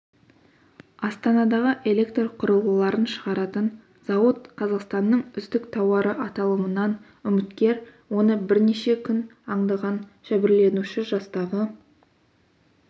астанадағы электр құрылғыларын шығаратын зауыт қазақстанның үздік тауары аталымынан үміткер оны бірнеше күн аңдыған жәбірленуші жастағы